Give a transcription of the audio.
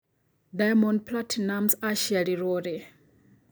diamond platinumz acĩarĩrwo rĩ